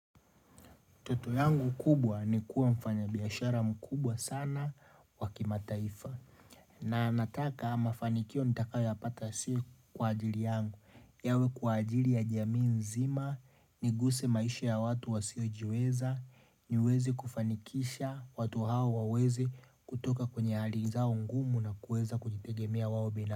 Toto yangu kubwa ni kuwa mfanyabiashara mkubwa sana wa kimataifa na nataka mafanikio nitakayoyapata sio kwa ajili yangu yawe kwa ajili ya jamii nzima, niguse maisha ya watu wasiojiweza niweze kufanikisha watu hawa waweze kutoka kwenye hali zao ngumu na kuweza kujitegemea wao bina.